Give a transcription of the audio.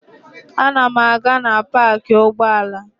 Ana m aga na paakị ụgbọala.